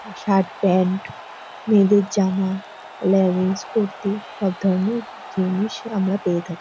Shirt pant মেয়েদের জামা leggings kurti সব ধরনের জিনিস আমরা পেয়ে থাকি।